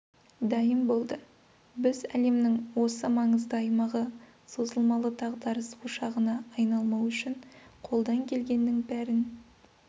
дайын болды біз әлемнің осы маңызды аймағы созылмалы дағдарыс ошағына айналмауы үшін қолдан келгеннің бәрін